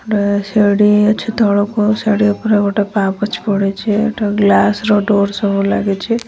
ତାପରେ ଗୋଟେ ବାଇକ୍ ଛିଡ଼ା ହେଇଛି ତାପରେ ଏଇଠି କଣ ସାମାନ୍ ରଖାଯାଇଛି।